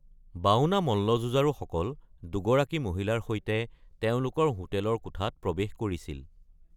বাওনা মল্লযুঁজাৰুসকল দুগৰাকী মহিলাৰ সৈতে তেওঁলোকৰ হোটেলৰ কোঠাত প্ৰৱেশ কৰিছিল।